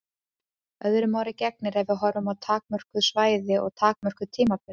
Öðru máli gegnir ef við horfum á takmörkuð svæði og takmörkuð tímabil.